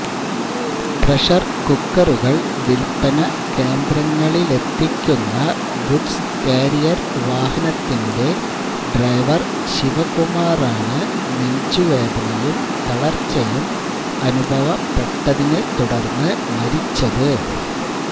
pressure കുക്കറുകള് വില്പ്പനകേന്ദ്രങ്ങളിലെത്തിക്കുന്ന goods carrier വാഹനത്തിന്റെ ഡ്രൈവര് ശിവകുമാറാണ് നെഞ്ചുവേദനയും തളര്ച്ചയും അനുഭവപ്പെട്ടതിനെത്തുടര്ന്ന് മരിച്ചത്